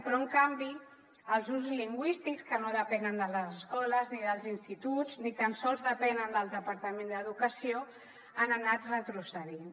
però en canvi els usos lingüístics que no depenen de les escoles ni dels instituts ni tan sols depenen del departament d’educació han anat retrocedint